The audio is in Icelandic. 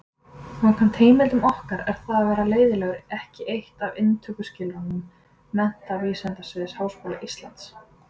Samkvæmt heimildum okkar er það að vera leiðinlegur ekki eitt af inntökuskilyrðum Menntavísindasviðs Háskóla Íslands.